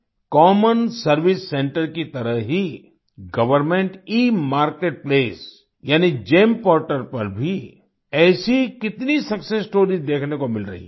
common service centre की तरह ही गवर्नमेंट ई मार्केट प्लेस यानी गेम पोर्टल पर भी ऐसी कितनी सक्सेस स्टोरीज देखने को मिल रही हैं